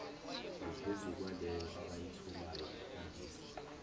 ngaphezukwaleyo abayitholayo ikhombisa